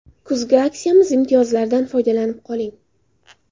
Kuzgi aksiyamiz imtiyozlaridan foydalanib qoling!.